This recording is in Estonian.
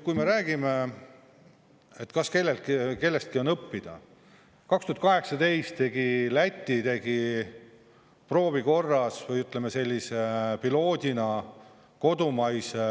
Kui me räägime, kas kellestki on õppida, 2018 tegi Läti proovikorras, või ütleme, sellise piloodina kodumaise